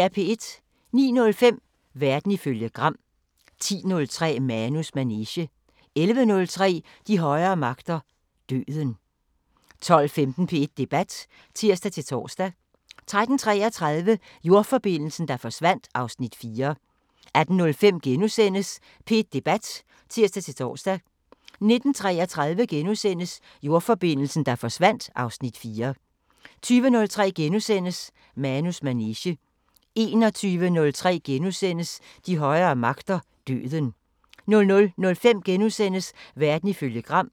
09:05: Verden ifølge Gram 10:03: Manus manege 11:03: De højere magter: Døden 12:15: P1 Debat (tir-tor) 13:33: Jordforbindelsen, der forsvandt (Afs. 4) 18:05: P1 Debat *(tir-tor) 19:33: Jordforbindelsen, der forsvandt (Afs. 4)* 20:03: Manus manege * 21:03: De højere magter: Døden * 00:05: Verden ifølge Gram *